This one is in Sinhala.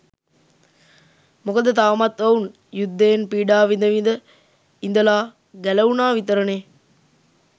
මොකද තවමත් ඔවුන් යුද්ධයෙන් පීඩා විඳ විඳ ඉඳලා ගැලවුණා විතරනෙ.